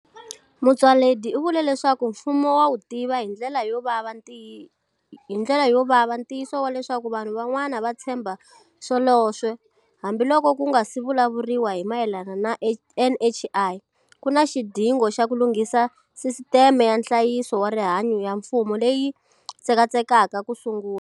Motsoaledi u vule leswaku mfumo wa wu tiva hindlela yo vava ntiyiso wa leswaku vanhu van'wana va tshemba swoleswo hambiloko ku nga si vulavuriwa hi mayelana na NHI, ku na xidingo xa ku lunghisa sisiteme ya nhlayiso wa rihanyu ya mfumo leyi tsekatsekaka kusungula.